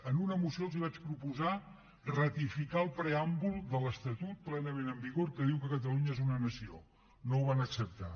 en una moció els vaig proposar ratificar el preàmbul de l’estatut plenament en vigor que diu que catalunya és una nació no ho van acceptar